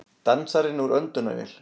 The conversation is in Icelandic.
Dansarinn úr öndunarvél